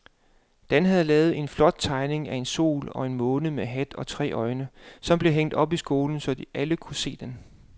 Dan havde lavet en flot tegning af en sol og en måne med hat og tre øjne, som blev hængt op i skolen, så alle kunne se den.